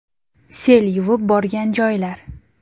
Sel yuvib borgan joylar.